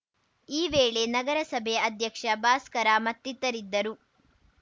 ಈ ವೇಳೆ ನಗರಸಭೆ ಅಧ್ಯಕ್ಷ ಭಾಸ್ಕರ ಮತ್ತಿತರರಿದ್ದರು